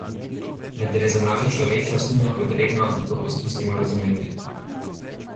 Vendar je za našo človečnost nujno potrebno, da to poskusimo razumeti.